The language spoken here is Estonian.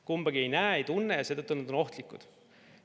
Kumbagi me ei näe ega tunne ja seetõttu on nad ohtlikud.